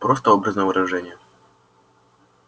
просто образное выражение